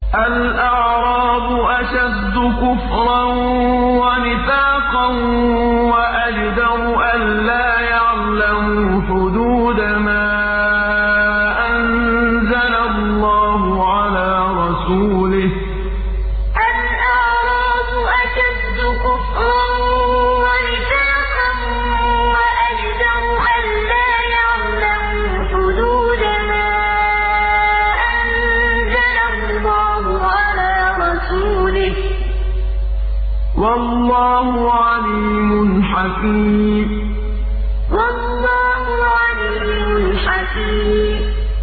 الْأَعْرَابُ أَشَدُّ كُفْرًا وَنِفَاقًا وَأَجْدَرُ أَلَّا يَعْلَمُوا حُدُودَ مَا أَنزَلَ اللَّهُ عَلَىٰ رَسُولِهِ ۗ وَاللَّهُ عَلِيمٌ حَكِيمٌ الْأَعْرَابُ أَشَدُّ كُفْرًا وَنِفَاقًا وَأَجْدَرُ أَلَّا يَعْلَمُوا حُدُودَ مَا أَنزَلَ اللَّهُ عَلَىٰ رَسُولِهِ ۗ وَاللَّهُ عَلِيمٌ حَكِيمٌ